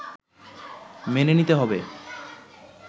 মেনে নিতে হবে